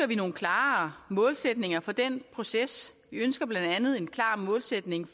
vi nogle klare målsætninger for den proces vi ønsker blandt andet en klar målsætning